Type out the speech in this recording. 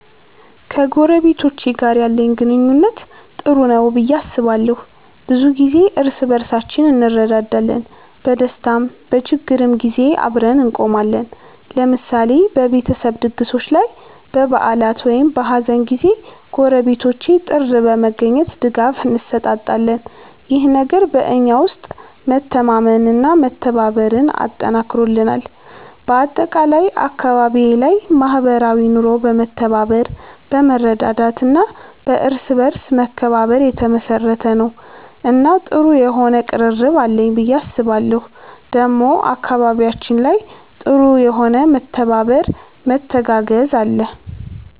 ከጎረቤቶቼ ጋር ያለኝ ግንኙነት ጥሩ ነው ብዬ አስባለሁ። ብዙ ጊዜ እርስ በርሳችን እንረዳዳለን፣ በደስታም በችግርም ጊዜ አብረን እንቆማለን። ለምሳሌ በቤተሰብ ድግሶች ላይ፣ በበዓላት ወይም በሀዘን ጊዜ ጎረቤቶቼ ጥር በመገኘት ድጋፍ እንሰጣጣለን። ይህ ነገር በእኛ ውስጥ መተማመንና መተባበርን አጠንክሮልናል። በአጠቃላይ አካባቢዬ ላይ ማህበራዊ ኑሮ በመተባበር፣ በመረዳዳት እና በእርስ በርስ መከባበር የተመሰረተ ነው እና ጥሩ የሆነ ቅርርብ አለኝ ብዬ አስባለሁ ዴሞ አካባቢያችን ላይ ጥሩ የሆነ መተባበር መተጋገዝ አለ።